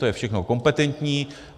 To je všechno kompetentní.